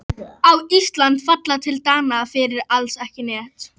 Á Ísland að falla til Dana fyrir alls ekki neitt?